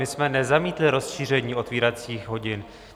My jsme nezamítli rozšíření otevíracích hodin.